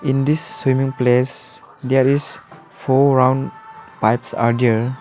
in this swimming place there is four round pipes are there.